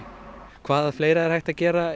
hvað fleira er hægt að gera